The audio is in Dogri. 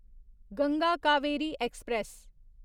गंगा कावेरी ऐक्सप्रैस